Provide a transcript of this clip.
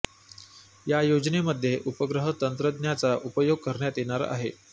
या योजनेमध्ये उपग्रह तंत्रज्ञाचा उपयोग करण्यात येणार आहे